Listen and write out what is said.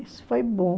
Isso foi bom.